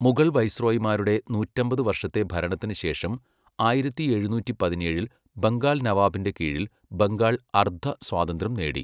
മുഗൾ വൈസ്രോയിമാരുടെ നൂറ്റമ്പത് വർഷത്തെ ഭരണത്തിനുശേഷം, ആയിരത്തി എഴുനൂറ്റി പതിനേഴിൽ ബംഗാൾ നവാബിന്റെ കീഴിൽ ബംഗാൾ അർദ്ധ സ്വാതന്ത്ര്യം നേടി.